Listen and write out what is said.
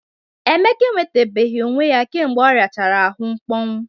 Emeka enwetabeghi onwe ya kemgbe ọriachara ahụ mkpọnwụ.